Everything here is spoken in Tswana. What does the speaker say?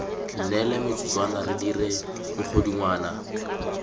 neele metsotswana re dire mogodungwana